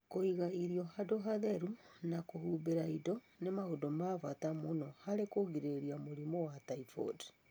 Kũiga irio handũ harĩa hatheru na kũhumbĩra indo nĩ maũndũ ma bata mũno harĩ kũgirĩrĩria mũrimũ wa typhoid.